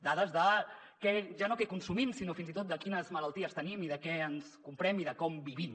dades de ja no què consumim sinó fins i tot de quines malalties tenim i de què ens comprem i de com vivim